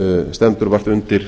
stendur vart undir